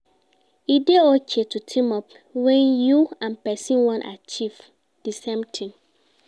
E de okay to team up when you and persin won achieve di same thing